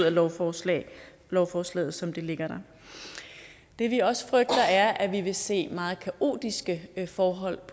af lovforslaget lovforslaget som det ligger her det vi også frygter er at vi vil se meget kaotiske forhold